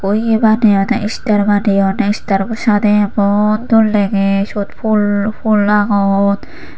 ui baneyodey istar baneyodey istarbo sadey emon dol degey siyot fhul fhul agon.